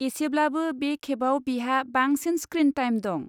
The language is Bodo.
एसेब्लाबो बे खेबाव बिहा बांसिन स्क्रिन टाइम दं।